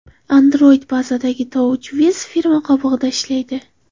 Android bazasidagi TouchWiz firma qobig‘ida ishlaydi.